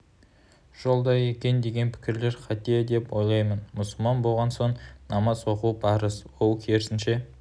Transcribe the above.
жолда екен деген пікірлер қате деп ойлаймын мұсылман болған соң намаз оқу парыз ол керісінше